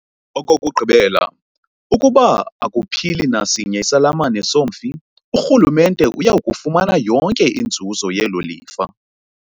Okokugqibela, ukuba akuphili nasinye isalamane somfi, uRhulumente uya kufumana yonke inzuzo yelo lifa.